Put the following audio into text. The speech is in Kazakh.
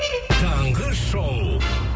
таңғы шоу